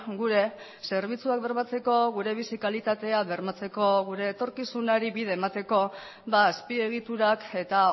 gure zerbitzuak bermatzeko gure bizi kalitatea bermatzeko gure etorkizunari bide emateko azpiegiturak eta